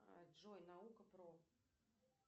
джой наука про